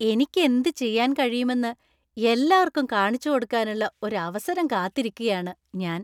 എനിക്കെന്ത് ചെയ്യാൻ കഴിയുമെന്ന് എല്ലാർക്കും കാണിച്ചുകൊടുക്കാനുള്ള ഒരു അവസരം കാത്തിരിക്കുകയാണ് ഞാൻ.